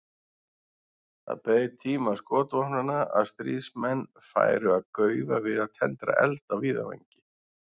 Það beið tíma skotvopnanna að stríðsmenn færu að gaufa við að tendra eld á víðavangi.